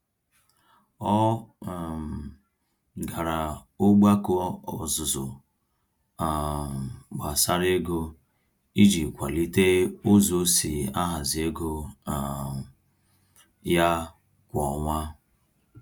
Ọ um gara ogbako ọzụzụ um gbásárá ego, iji kwalite ụzọ osi ahazi ego um ya kwá ọnwa